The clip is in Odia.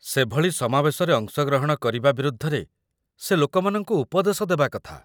ସେଭଳି ସମାବେଶରେ ଅଂଶଗ୍ରହଣ କରିବା ବିରୁଦ୍ଧରେ ସେ ଲୋକମାନଙ୍କୁ ଉପଦେଶ ଦେବା କଥା